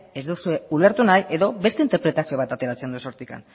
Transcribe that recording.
ez duzue ulertu nahi edo beste interpretazio bat ateratzen duzue hortik